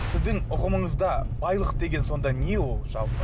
сіздің ұғымыңызда байлық деген сонда не ол жалпы